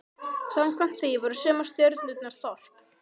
Samkvæmt því voru sumar stjörnurnar þorp.